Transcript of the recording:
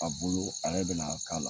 A bolo ale bɛna a k'a la